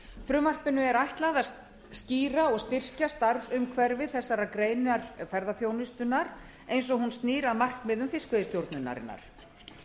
frumvarpinu er ætlað að stýra og styrkja starfsumhverfi þessarar greinar ferðaþjónustunnar eins og hún snýr að markmiðum fiskveiðistjórnarinnar